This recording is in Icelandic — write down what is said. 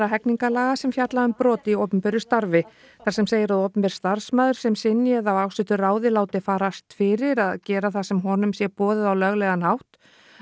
hegningarlaga sem fjalla um brot í opinberu starfi þar sem segir að opinber starfsmaður sem synji eða af ásettu ráði láti farast fyrir að gera það sem honum sé boðið á löglegan hátt